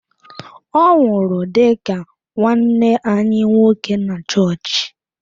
Ọ nwụrụ dị ka nwanne anyi nwoke na chọọchị.